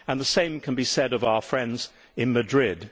The same can be said of our friends in Madrid.